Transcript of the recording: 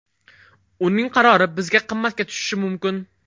Uning qarori bizga qimmatga tushishi mumkin.